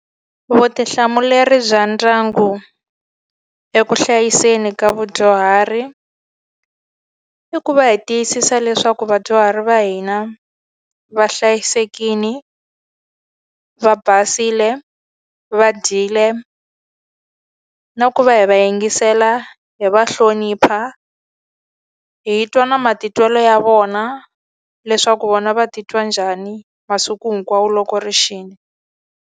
Vutihlamuleri bya ndyangu eku hlayiseni ka vadyuhari, i ku va hi tiyisisa leswaku vadyuhari va hina va hlayisekile, va basile, va dyile, na ku va hi va yingisela, hi va hlonipha. Hi twa na matitwelo ya vona leswaku vona ku va titwa njhani masiku hinkwawo loko ri xile.